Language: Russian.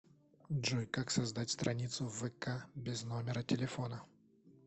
джой как создать страницу в вк без номера телефона